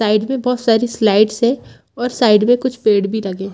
Side में बहुत सारी स्लाइड्स है और साइड में कुछ पेड़ भी लगे है।